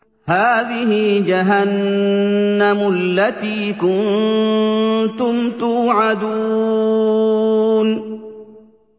هَٰذِهِ جَهَنَّمُ الَّتِي كُنتُمْ تُوعَدُونَ